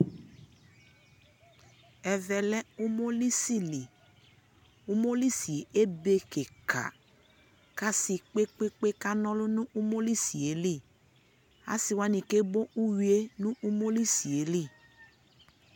ɛvɛ lɛ ʋmɔlisi li, ʋmɔlisiɛ ɛbɛ kikaa, kʋ asii kpekpekpe ka nɔlʋ nʋ ʋmɔlisili, asii wani kɛ bɔ ʋwiɛ nʋ ʋmɔli si li